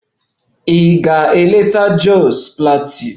Ị ga-eleta Jos Plateau?